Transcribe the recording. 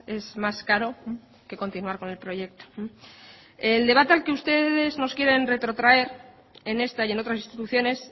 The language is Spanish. es más caro que continuar con el proyecto el debate al que ustedes nos quieren retrotraer en esta y en otras instituciones